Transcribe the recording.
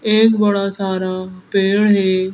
एक बड़ा सारा पेड़ है।